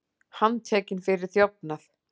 Handtekinn fyrir þjófnað